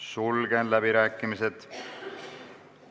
Sulgen läbirääkimised.